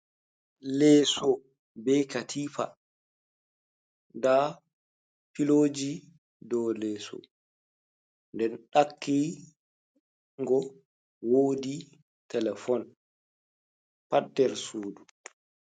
Leeso be katifa, nda filoji dow leeso, nden ɗakki ngo wodi telefon pat nder sudu.